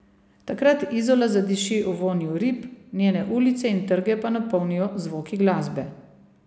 Takrat Izola zadiši v vonju rib, njene ulice in trge pa napolnijo zvoki glasbe.